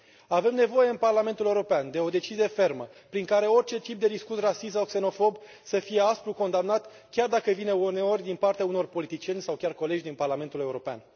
Avem nevoie în Parlamentul European de o decizie fermă prin care orice tip de discurs rasist sau xenofob să fie aspru condamnat chiar dacă vine uneori din partea unor politicieni sau chiar colegi din Parlamentul European.